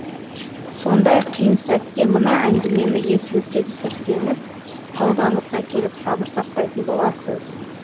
сондай қиын сәтте мына әңгімені есіңізге түсірсеңіз тәубаңызға келіп сабыр сақтайтын боласыз